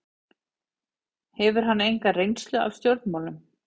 Hefur hann enga reynslu af stjórnmálum